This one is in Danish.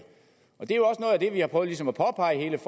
det er vi har prøvet ligesom at påpege